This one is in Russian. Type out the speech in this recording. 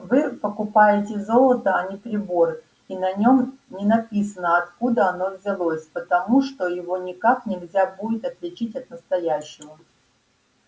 вы покупаете золото а не прибор и на нём не написано откуда оно взялось потому что его никак нельзя будет отличить от настоящего